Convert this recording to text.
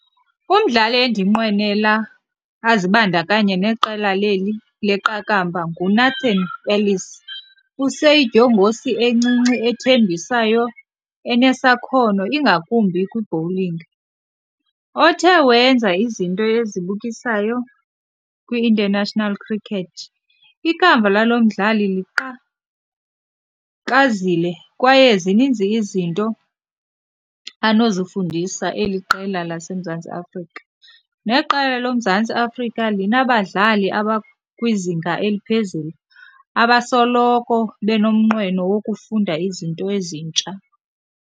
Umdlali endinqwenela azibandakanye neqela leli leqakamba nguNathan Ellis, useyidyongosi encinci ethembisayo enesakhono ingakumbi kwi-bowling, othe wenza izinto ezibukisayo kwiInternational Cricket. Ikamva lalo mdlali liqhakazile kwaye zininzi izinto anozifundisa eli qela laseMzantsi Afrika. Neqela loMzantsi Afrika linabadlali abakwizinga eliphezulu, abasoloko benomnqweno wokufunda izinto ezintsha.